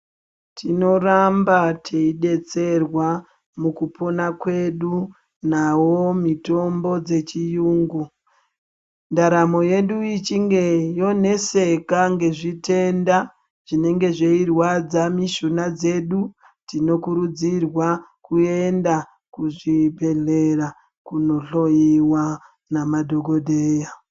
Tinoramba teidetserwa mukupona kwedu nawo mitombo dzechiyungu. Ndaramo yedu ichinge yoneseka ngezvitenda zvinenge zveirwadza mishuna dzedu, tinokurudzirwa kuenda kuzvibhedhlera kunohloyiwa namadhokodheya.